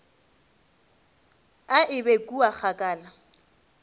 a e be kua kgakala